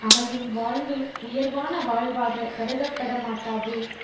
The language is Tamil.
அமையும் வாழ்வு உயர்வான வாழ்வாகக் கருதப்பட மாட்டாது